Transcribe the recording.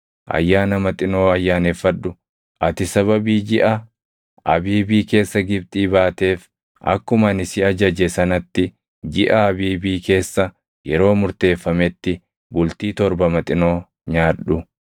“Ayyaana Maxinoo ayyaaneffadhu. Ati sababii jiʼa Abiibii keessa Gibxii baateef akkuma ani si ajaje sanatti jiʼa Abiibii keessa yeroo murteeffametti bultii torba Maxinoo nyaadhu.